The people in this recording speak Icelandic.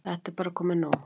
Þetta er bara komið nóg.